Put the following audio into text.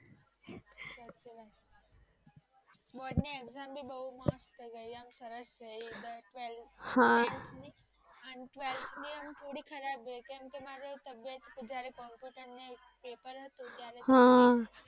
board ની exam પણ બૌ માસ્ટ ગયી એમ સરસ ગયી અને ટ્વેલ્થ ની પુરી ખરાબ ગયી કેમકે અમૃ તબિયત જેયારે પેપર હતું ત્યારે